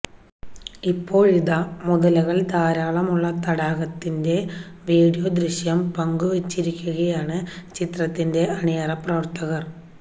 ഇപ്പോഴിതാ മുതലകൾ ധാരാളമുള്ള തടാകത്തിന്റെ വീഡീയോ ദൃശ്യം പങ്കുവെച്ചിരിക്കുകയാണ് ചിത്രത്തിന്റെ അണിയറപ്രവർത്തകർ